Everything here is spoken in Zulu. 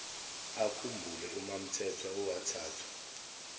akhumbule umamthethwa owathathwa